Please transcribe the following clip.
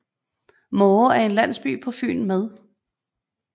Måre er en landsby på Fyn med